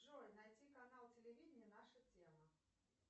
джой найди канал телевидения наша тема